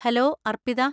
Hello, Arpita.